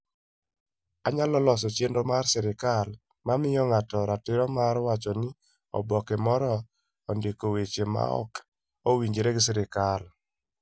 Onyalo loso chenro mar sirkal mamiyo ng'ato ratiro mar wacho ni oboke moro ondiko weche maok owinjore gi sirkal